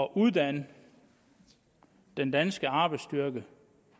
uddanne den danske arbejdsstyrke